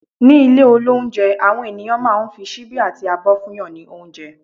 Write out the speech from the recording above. ní ilé olounje, awọn ènìyàn ma n fi síbi ati àbọ fún yan ni ounjẹ